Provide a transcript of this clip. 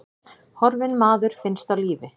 Horfinn maður finnst á lífi